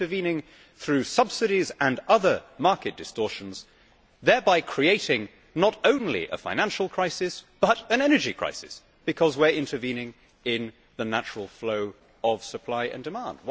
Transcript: We are intervening through subsidies and other market distortions, thereby creating not only a financial crisis but an energy crisis because we are intervening in the natural flow of supply and demand.